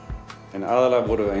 en aðallega vorum við